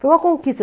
Foi uma conquista.